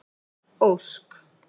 Ósk